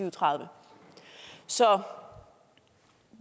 og tredive så